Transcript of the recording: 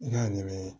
I b'a ɲɛmaa ye